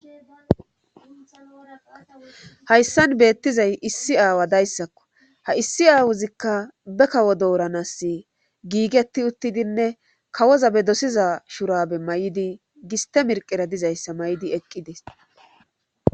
Hayssan beettizay issi aawa dayssakko ha issi aawozikka be kawo dooranas giigeti uttidinne kawoza be dosiza shurabe may7di giste mirqera dizayssa may7idi eqqides.